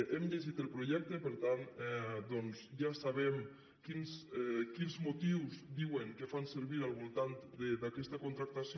hem llegit el projecte per tant doncs ja sabem quins motius diuen que fan servir al voltant d’aquesta contractació